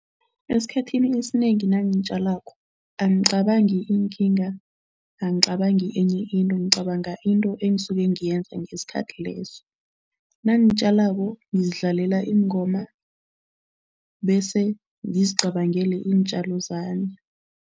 Esikhathini esinengi nangitjalako, angicabangi iinkinga, angicabangi enye into, ngicabanga into engisuke ngiyenza ngesikhathi leso. Nangitjalako ngizidlalela iingoma bese ngizicabangele iintjalo zami.